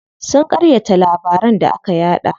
Sun ƙaryata labaran da aka yaɗa.